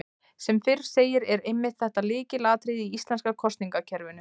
Sem fyrr segir er einmitt þetta lykilatriði í íslenska kosningakerfinu.